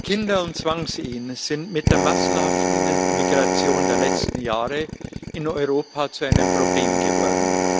Kinder und Zwangsehen sind mit der massenhaften Migration der letzten Jahre in Europa zu einem Problem geworden.